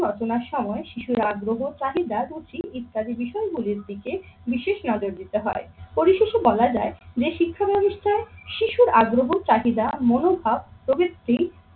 রচনার সময় শিশুর আগ্রহ, চাহিদা বুঝি ইত্যাদি বিষয়গুলির দিকে বিশেষ নজর দিতে হয়। পরিশেষে বলা যায় যে শিক্ষা ব্যাবস্থায় শিশুর আগ্রহ চাহিদা, মনোভাব প্রভৃতি